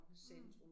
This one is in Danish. Mh